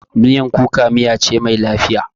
Miyan kuka miya ce mai lafiya.